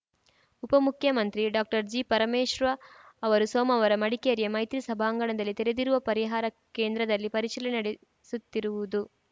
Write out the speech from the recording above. ಉಪಮುಖ್ಯಮಂತ್ರಿ ಡಾಕ್ಟರ್ಜಿಪರಮೇಶ್ವ ಅವರು ಸೋಮವಾರ ಮಡಿಕೇರಿಯ ಮೈತ್ರಿ ಸಭಾಂಗಣದಲ್ಲಿ ತೆರೆದಿರುವ ಪರಿಹಾರ ಕೇಂದ್ರದಲ್ಲಿ ಪರಿಶೀಲನೆ ನಡೆಸುತ್ತಿರುವುದು